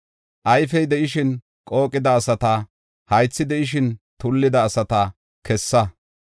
Ayfey de7ishin qooqida asata, haythi de7ishin tullida asata kessa.